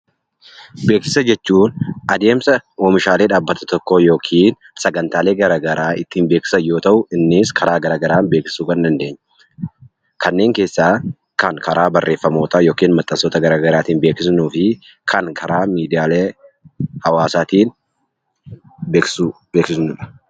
Oomisha jechuun adeemsa oomishaalee dhaabbata tokkoo yookiin sagantaalee garaagaraa ittiin beeksisan yoo ta'u, innis karaa garaagaraa beeksisuu kan dandeenyudha. Kanneen keessaa kan karaa barreeffamootaa yookiin maxxansoota garaagaraatiin beeksifnuu fi kan karaa miidiyaa hawaasaatiin beeksifnudha.